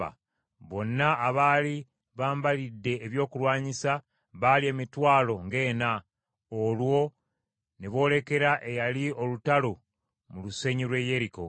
bonna abaali bambalidde ebyokulwanyisa baali emitwalo ng’ena mu maaso ga Mukama Katonda, olwo ne boolekera eyali olutalo mu lusenyi lw’e Yeriko.